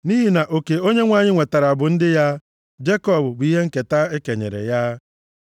Nʼihi na oke Onyenwe anyị nwetara bụ ndị ya Jekọb bụ ihe nketa e kenyere ya.